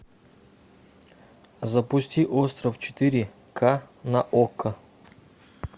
запусти остров четыре ка на окко